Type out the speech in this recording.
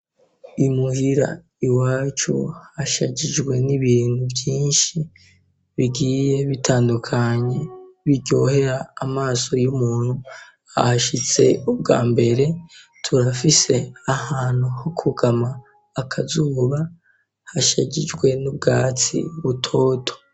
Imuhira iwacu hashajijwe n'ibintu vyinshi bigiye bitandukanye biryohera amaso y'umuntu ahashitse ubwa mbere. Turafise ahantu ho kwugama akazuba hashagijwe n'ubwatsi butoto.